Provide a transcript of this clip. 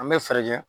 An bɛ fɛɛrɛ kɛ